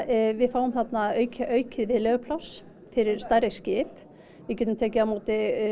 við fáum þarna aukið aukið viðlegupláss fyrir stærri skip við getum tekið á móti